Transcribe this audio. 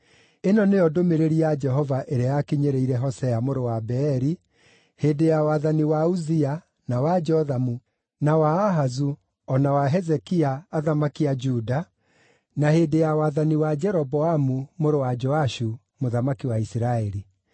Ĩno nĩyo ndũmĩrĩri ya Jehova ĩrĩa yakinyĩrĩire Hosea mũrũ wa Beeri hĩndĩ ya wathani wa Uzia, na wa Jothamu, na wa Ahazu, na wa Hezekia athamaki a Juda, na hĩndĩ ya wathani wa Jeroboamu mũrũ wa Joashu mũthamaki wa Isiraeli: